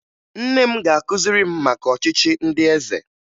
Nne m ga-akụziri m maka ọchịchị ndị eze